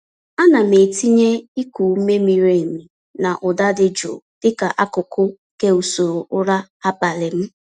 Ana m tinye iku ume miri emi na ụda dị jụụ dịka akụkụ nke usoro ụra abalị m.